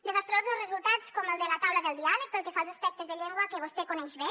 desastrosos resultats com el de la taula del diàleg pel que fa als aspectes de llengua que vostè coneix bé